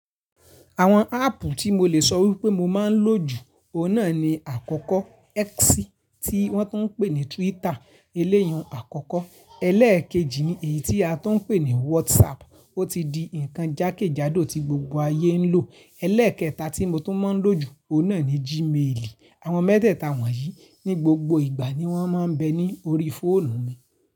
Àwọn áàpù tí mo lè sọ wípé mo máa ń lò jù, o náà ni àkọ́kọ́ X tí wọ́n tún ń pè ní Twitter eléyun àkọ́kọ́. Ẹlẹ́ẹ̀kejì ni èyí tí a tún ń pè ní WhatsApp, ó ti di nǹkan jákèjádò tí gbogbo ayé ń lò. Ẹlẹ́ẹ̀kẹta tí mo tún máa ń lò jù, o náà ni Gmail. Àwọn mẹ́tẹ̀ẹ̀ta wọ̀nyí ní gbogbo ìgbà ni wọ́n máa ń bẹ ní orí fóònù mi.